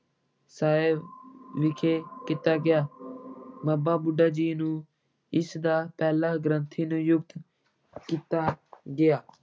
ਸਾਹਿਬ ਵਿਖੇ ਕੀਤਾ ਗਿਆ ਬਾਬਾ ਬੁੱਢਾ ਜੀ ਨੂੰ ਇਸ ਦਾ ਪਹਿਲਾ ਗ੍ਰੰਥੀ ਨਿਯੁਕਤ ਕੀਤਾ ਕੀਤਾ ਗਿਆ।